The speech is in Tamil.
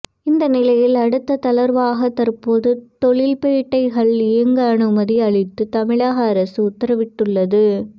இந்த நிலையில் அடுத்த தளர்வாக தற்போது தொழில்பேட்டைகள் இயங்க அனுமதி அளித்து தமிழக அரசு உத்தரவிட்டுள்ளது